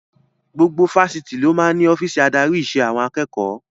Gbogbo Fáṣítì ló máa ń ní ọ́fíìsì adarí ìṣe àwọn akẹ́kọ̀ọ́